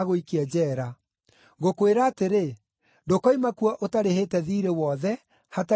Ngũkwĩra atĩrĩ, ndũkoima kuo ũtarĩhĩte thiirĩ wothe, hatarĩ gathendi ũgũtigia.”